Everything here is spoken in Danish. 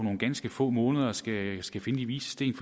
ganske få måneder skal skal finde de vises sten